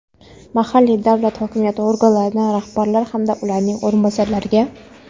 mahalliy davlat hokimiyati organlarida rahbarlar hamda ularning o‘rinbosarlariga;.